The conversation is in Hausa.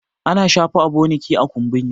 ana shafa aboniki a kumburi